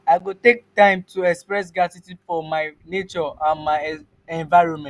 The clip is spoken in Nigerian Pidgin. i go take time to express gratitude for nature and my environment.